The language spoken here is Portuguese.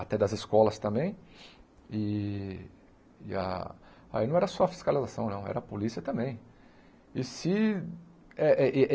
até das escolas também, e e ah aí não era só a fiscalização não, era a polícia também. E se ah eh ah eh